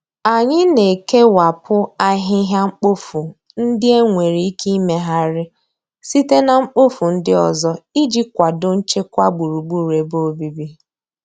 Anyị na-ekewapụta ahịhịa mkpofu ndị e nwere ike imegharị site na mkpofu ndị ọzọ iji kwado nchekwa gburugburu ebe obibi